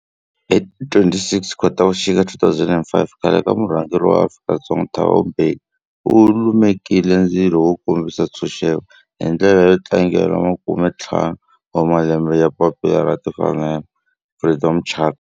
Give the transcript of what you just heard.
Hi ti 26 Khotavuxika 2005 khale ka murhangeri wa Afrika-Dzonga Thabo Mbeki u lumekile ndzilo wo kombisa ntshuxeko, hi ndlela yo tlangela makumentlhanu wa malembe ya papila ra timfanelo, Freedom Charter.